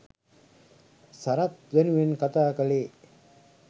සරත් වෙනුවෙන් කතා කලේ